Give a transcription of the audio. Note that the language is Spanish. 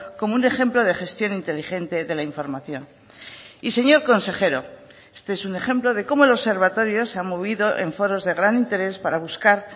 como un ejemplo de gestión inteligente de la información y señor consejero este es un ejemplo de cómo el observatorio se ha movido en foros de gran interés para buscar